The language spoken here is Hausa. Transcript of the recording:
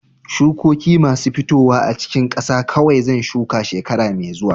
Shukokin masu fitowa a cikin ƙasa kawai zan shuka shekara mai zuwa.